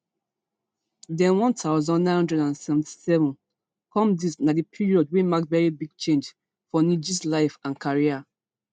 den one thousand, nine hundred and seventy-seven come dis na di period wey mark very big change for nggs life and career